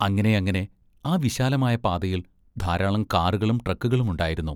അങ്ങനെയങ്ങനെ. ആ വിശാലമായ പാതയിൽ ധാരാളം കാറുകളും ട്രക്കുകളും ഉണ്ടായിരുന്നു.